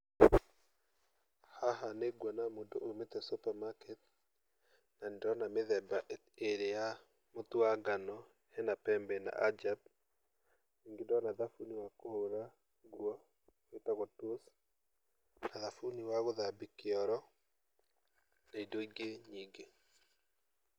Haha nĩ nguona mũndũ uumĩte supermarket, na nĩ ndĩrona mĩthemba ĩrĩ ya mũtu wa ngano; he na Pembe na Ajab, ningĩ ndona thabuni wa kũhũra nguo wĩtagwo Toss, na thabuni wa gũthambia kĩoro na indo ingĩ nyingĩ.